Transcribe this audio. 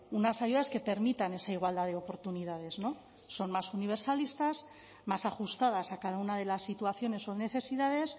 unas ayudas que permitan esa igualdad de oportunidades no son más universalistas más ajustadas a cada una de las situaciones o necesidades